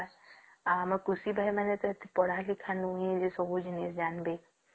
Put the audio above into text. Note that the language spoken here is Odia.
ଆମ କୃଷି ଭାଇ ମାନେ ଏତେ ପଢା ଲିଖା ନୁହେ ଯେ ସବୁ ଜିନିଷ ଜାଣିବେ